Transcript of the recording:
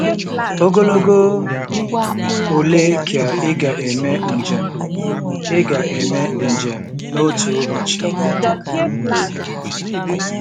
Ogologo ole ka ị ga-eme njem ị ga-eme njem n'otu ụbọchị?